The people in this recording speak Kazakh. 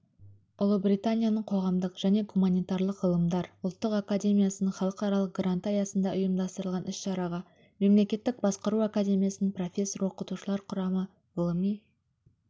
ұлыбританияның қоғамдық және гуманитарлық ғылымдар ұлттық академиясының халықаралық гранты аясында ұйымдастырылған іс-шараға мемлекеттік басқару академиясының профессор-оқытушылар құрамы ғылыми